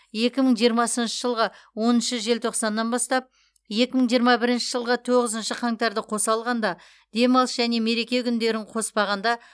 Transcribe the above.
екі мың жиырмасыншы жылғы оныншы желтоқсаннан бастап екі мың жиырма бірінші жылғы тоғызыншы қаңтарды қоса алғанда демалыс және мереке күндерін қоспағанда